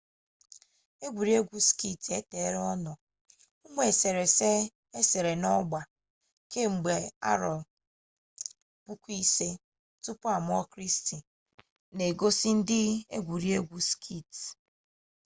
egwuregwu ski eteela ọ nọ ụmụ eserese esere n'ọgba kemgbe 5000 bc na-egosi ndị egwuregwu ski